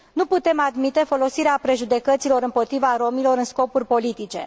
Nu putem admite folosirea prejudecăților împotriva romilor în scopuri politice